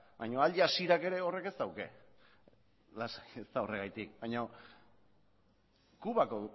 baina al jazeerak ere horrek ez dauka lasai ez da horregatik baina kubako